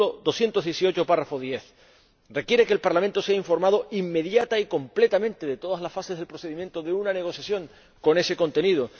El artículo 218, apartado 10, requiere que el Parlamento sea informado inmediata y completamente de todas las fases del procedimiento de una negociación con ese contenido.